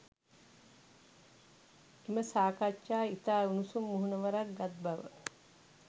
එම සාකච්ඡා ඉතා උණුසුම් මුහුණුවරක් ගත් බව